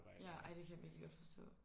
Ja ej det kan jeg virkelig godt forstå